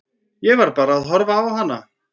Ég var bara að horfa á hana.